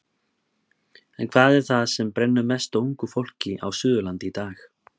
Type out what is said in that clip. En hvað er það sem brennur mest á ungu fólki á Suðurlandi í dag?